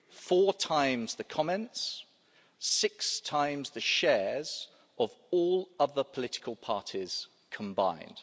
Four times the comments, six times the shares of all other political parties combined.